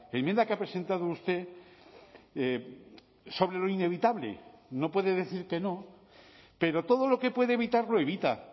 enmienda que ha presentado usted sobre lo inevitable no puede decir que no pero todo lo que puede evitar lo evita